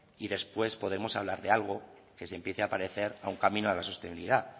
y después podemos hablar de algo que se empiece a parecer a un camino a la sostenibilidad